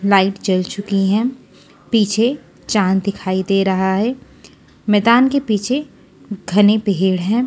Light जल चुकी है पीछे चांद दिखाई दे रहा है मैदान के पीछे घने पेड़ हैं।